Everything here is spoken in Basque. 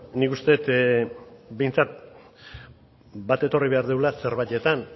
nik uste dut behintzat bat etorri behar dugula zerbaitetan